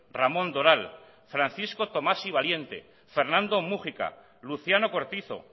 ramón doral francisco tomás y valiente fernando múgica luciano cortizo